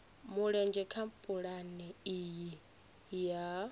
mulenzhe kha pulane iyi ya